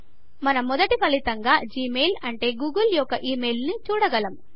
మనం మొదటి ఫలితంగా జిమెయిల్ అంటే గూగుల్ యొక్క ఇమెయిల్ ను చూడగలము